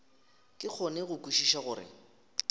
ke kgone go kwešiša gore